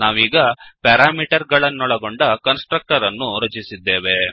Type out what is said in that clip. ನಾವೀಗ ಪ್ಯಾರಾಮೀಟರ್ ಗಳನ್ನೊಳಗೊಂಡ constructor ಅನ್ನು ರಚಿಸಿದ್ದೇವೆ